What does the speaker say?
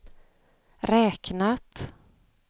räknat